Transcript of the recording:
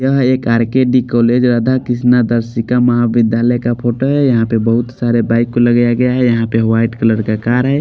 यहाँ एक R_ K_ D_ college Radha Krishna Darshika Mahavidyalaya का फोटो है यहाँ पे बहुत सारे बाइक को लगाया गया है यहाँ पे व्हाईट कलर का कार है।